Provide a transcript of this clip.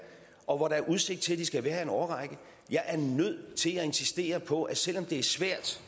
og hvor der er udsigt til at de skal være her i en årrække jeg er nødt til at insistere på at selv om det er svært